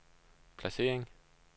placering